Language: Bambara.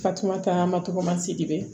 Fatumata ma tɔgɔmasidibe